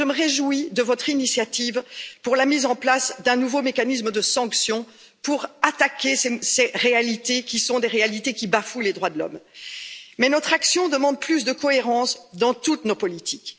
Et je me réjouis de votre initiative pour la mise en place d'un nouveau mécanisme de sanctions pour attaquer ces réalités des réalités qui bafouent les droits de l'homme. Mais notre action demande plus de cohérence dans toutes nos politiques.